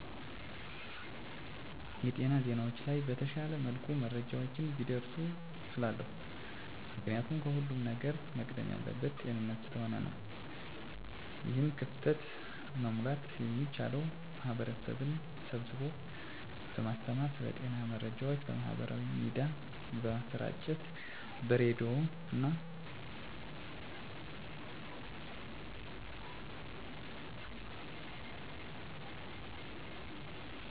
የጤና ዜናዎች ላይ በተሻለ መልኩ መረጃዎች ቢደርሱ እላለሁ። ምክንያቱም ከሁለም ነገር መቅደም ያለበት ጤንነት ስለሆነ ነው። ይህን ክፍተት መሙላት የሚቻለው ማህበረሰብን ስብስቦ በማስተማር ስለ ጤና መረጃዎች በማህበራዊ ሚዲያ በማሰራጨት በሬዲዮና በቴሌቪዥን መረጃዎችን በማስተላለፍ ስዎች ለህክምና አገልግሎት በሚመጡበት ጊዜ ተጨማሪ የጤና መረጃዎችን በመስጠትና የተነገራቸውን መረጃዎች ለሰዎች እንዲያጋሩ በማድረግ በአጠቃላይ በማህበረሰቡ ላይ ስለ ጤና መረጃ ግንዛቤ በመፍጠር ክፍተቶችን መሙላት ይቻላል።